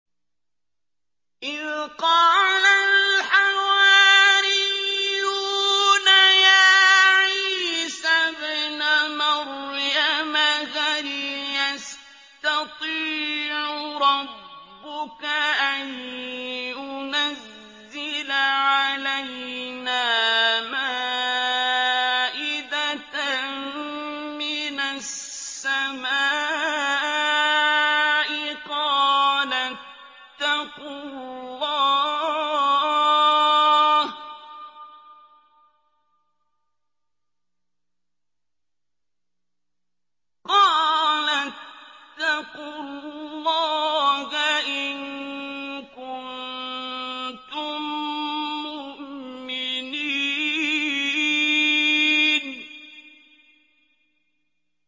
إِذْ قَالَ الْحَوَارِيُّونَ يَا عِيسَى ابْنَ مَرْيَمَ هَلْ يَسْتَطِيعُ رَبُّكَ أَن يُنَزِّلَ عَلَيْنَا مَائِدَةً مِّنَ السَّمَاءِ ۖ قَالَ اتَّقُوا اللَّهَ إِن كُنتُم مُّؤْمِنِينَ